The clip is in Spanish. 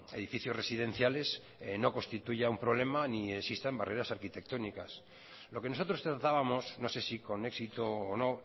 edificios residenciales no constituya un problema ni existan barreras arquitectónicas lo que nosotros tratábamos no sé si con éxito o no